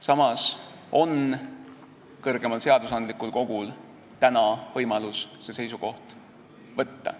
Samas on kõrgemal seadusandlikul kogul täna võimalus see seisukoht võtta.